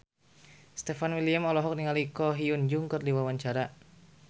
Stefan William olohok ningali Ko Hyun Jung keur diwawancara